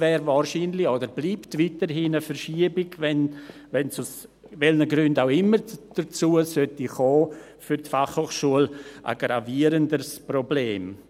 Eine Verschiebung wäre und bleibt wahrscheinlich, wenn es, aus welchen Gründen auch immer, dazu kommen sollte, für die Fachhochschule ein gravierenderes Problem.